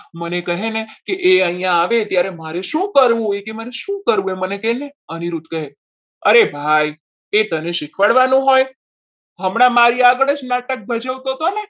કહેને કે અહીંયા આવે ત્યારે મારે શું કરવું એ કે મારે શું કરવું એ મને કેને અનિરુદ્ધ કહે અરે ભાઈ તે તને શીખવાડવાનું હોય હમણાં મારી આગળ જ નાટક ભજવતો હતો ને?